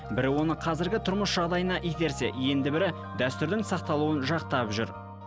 бірі оны қазіргі тұрмыс жағдайына итерсе енді бірі дәстүрдің сақталуын жақтап жүр